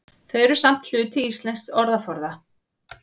Þau eru samt hluti íslensks orðaforða.